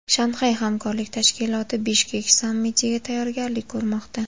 Shanxay hamkorlik tashkiloti Bishkek sammitiga tayyorgarlik ko‘rmoqda.